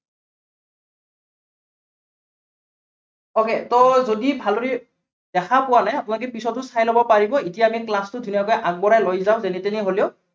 okay ত যদি ভালদৰে দেখা পোৱা নাই, আপোনালোকে পিছতো চাই লব পাৰিব। এতিয়া আমি class টো ধুনীয়াকৈ আগবঢ়াই লও যাওঁ, যেনে তেনে হলেও